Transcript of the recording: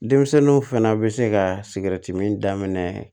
Denmisɛnninw fana bɛ se ka sigɛriti min daminɛ